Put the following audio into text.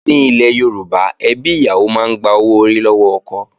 Ní ilẹ̀ Yorùbá, ẹbí ìyàwó máa ń gba owó orí lọ́wọ́ ẹbí ọkọ